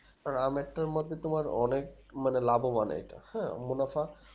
আমের তার মতো তোমার অনেক মানে লাভবান এটা হ্যাঁ মুনাফা